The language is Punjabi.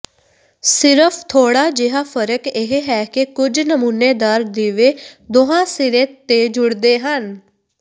ਸਿਰਫ ਥੋੜ੍ਹਾ ਜਿਹਾ ਫਰਕ ਇਹ ਹੈ ਕਿ ਕੁਝ ਨਮੂਨੇਦਾਰ ਦੀਵੇ ਦੋਹਾਂ ਸਿਰੇ ਤੇ ਜੁੜਦੇ ਹਨ